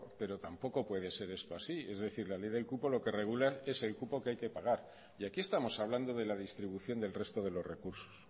pero tampoco puede ser eso así es decir la ley del cupo lo que regula es el cupo que hay que pagar y aquí estamos hablando de la distribución del resto de los recursos